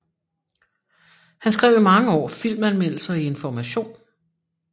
Han skrev i mange år filmanmeldelser i Information